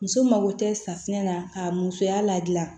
Muso mako tɛ safunɛ na ka musoya ladilan